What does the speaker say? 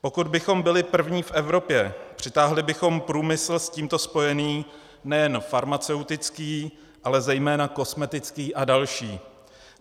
Pokud bychom byli první v Evropě, přitáhli bychom průmysl s tímto spojený - nejen farmaceutický, ale zejména kosmetický a další.